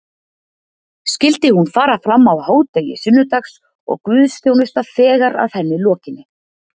Skyldi hún fara fram á hádegi sunnudags og guðþjónusta þegar að henni lokinni.